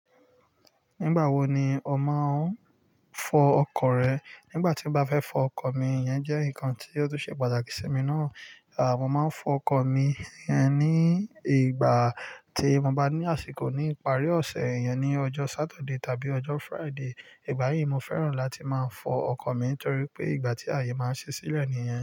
Nígbà wo ni ọ máa ń fọ ọkọ̀ rẹ? Nígbà tí mo bá fẹ́ fọ ọkọ̀ mi, ìyẹn jẹ́ nǹkan tí ó tún ṣe pàtàkì sí mi náà. Àwọn máa ń fọ ọkọ̀ mi yẹn ní ìgbà tí mo bá ní àsìkò ní ìparí ọ̀sẹ̀, ìyẹn ni ọjọ́ Sátidé tàbí ọjọ́ Fraíde. Ìgbà yíì mo fẹ́ràn láti máa fọ ọkọ̀ mi torí pé ìgbà tí ààyè máa ń ṣẹ́ ṣílẹ̀ ni yẹn.